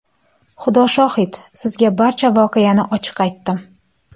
Xudo shohid, sizga barcha voqeani ochiq aytdim.